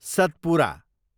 Satpura